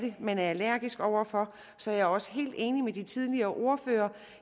man er allergisk over for så jeg er også helt enig med de tidligere ordførere